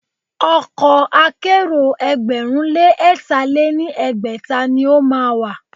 Ọkọ̀ akẹ́rò ẹgbẹ̀rún lé ẹ̀tà lé ní ẹgbẹ́ta ni o má a wà.